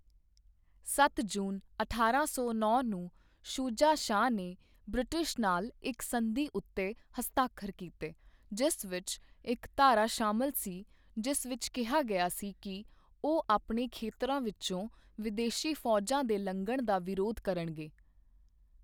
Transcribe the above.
ਸੱਤ ਜੂਨ ਅਠਾਰਾਂ ਸੌ ਨੌਂ ਨੂੰ, ਸ਼ੁਜਾ ਸ਼ਾਹ ਨੇ ਬ੍ਰਿਟਿਸ਼ ਨਾਲ ਇੱਕ ਸੰਧੀ ਉੱਤੇ ਹਸਤਾਖਰ ਕੀਤੇ, ਜਿਸ ਵਿੱਚ ਇੱਕ ਧਾਰਾ ਸ਼ਾਮਲ ਸੀ ਜਿਸ ਵਿੱਚ ਕਿਹਾ ਗਿਆ ਸੀ ਕਿ ਉਹ ਆਪਣੇ ਖੇਤਰਾਂ ਵਿੱਚੋਂ ਵਿਦੇਸ਼ੀ ਫੌਜਾਂ ਦੇ ਲੰਘਣ ਦਾ ਵਿਰੋਧ ਕਰਨਗੇ।